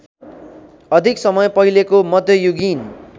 अधिक समय पहिलेको मध्ययुगीन